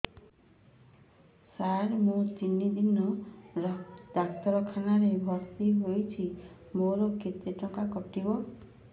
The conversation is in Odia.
ସାର ମୁ ତିନି ଦିନ ଡାକ୍ତରଖାନା ରେ ଭର୍ତି ହେଇଛି ମୋର କେତେ ଟଙ୍କା କଟିବ